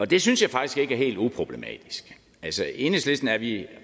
det synes jeg faktisk ikke er helt uproblematisk altså i enhedslisten er vi